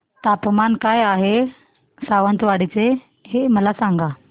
तापमान काय आहे सावंतवाडी चे मला सांगा